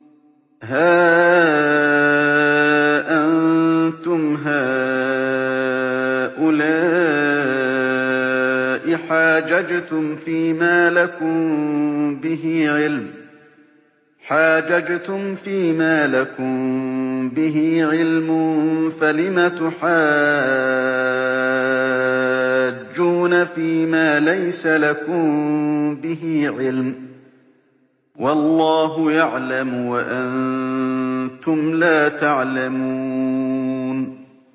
هَا أَنتُمْ هَٰؤُلَاءِ حَاجَجْتُمْ فِيمَا لَكُم بِهِ عِلْمٌ فَلِمَ تُحَاجُّونَ فِيمَا لَيْسَ لَكُم بِهِ عِلْمٌ ۚ وَاللَّهُ يَعْلَمُ وَأَنتُمْ لَا تَعْلَمُونَ